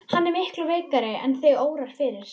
Hann er miklu veikari en þig órar fyrir.